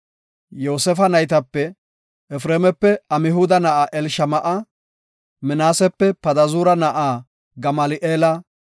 Yoosefa naytape, Efreemape Amhuda na7aa Elishama7a; Minaasepe Padazuura na7aa Gamali7eela;